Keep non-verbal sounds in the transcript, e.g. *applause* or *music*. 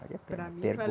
Vale a pena. Para mim *unintelligible*